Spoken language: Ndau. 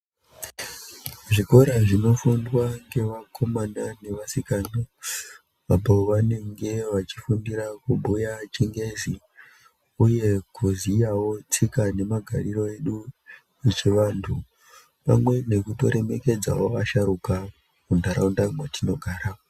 Zvikora zvinofundwa ngevakomana nevasikana apo vanonge vachifundirawo kubhuya chingezi uye kuziyawo tsika nemagariro edu echivanthu pamwe nokutoremekedzawo vasharuka muntharaunda mwatinogara